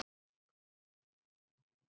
Þín Katrín.